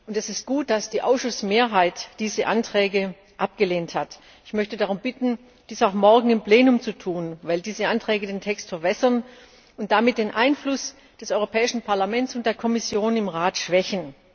Es ist gut, dass die Ausschussmehrheit deren Anträge abgelehnt hat. Ich möchte darum bitten, dies auch morgen im Plenum zu tun, weil diese Anträge den Text verwässern und damit den Einfluss des Europäischen Parlaments und der Kommission im Rat schwächen.